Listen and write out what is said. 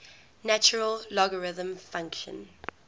natural logarithm function